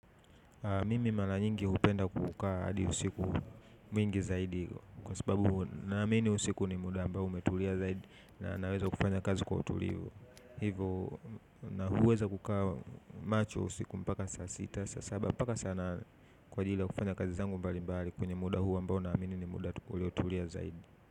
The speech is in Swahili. Mimi mara nyingi hupenda kukaa hadi usiku mwingi zaidi kwa sababu naamini usiku ni muda ambao umetulia zaidi na naweza kufanya kazi kwa utulivu. Hivyo naweza kukaa macho usiku mpaka saa sita, saa saba, mpaka saa nane kwa ajili ya kufanya kazi zangu mbali mbali kwenye muda huu ambao naamini ni muda tu uliotulia zaidi.